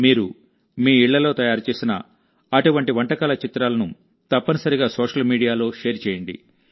మీరు మీ ఇళ్లలో తయారు చేసిన అటువంటి వంటకాల చిత్రాలను తప్పనిసరిగా సోషల్ మీడియాలో షేర్ చేయండి